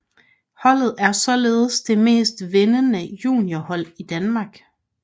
Holdet er således det mest vindende junior hold i Danmark